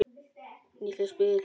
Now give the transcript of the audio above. Nýtileg spil.